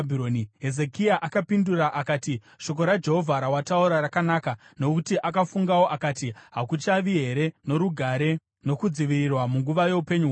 Hezekia akapindura akati, “Shoko raJehovha rawataura rakanaka.” Nokuti akafungawo akati, “Hakuchavi here norugare nokudzivirirwa munguva youpenyu hwangu?”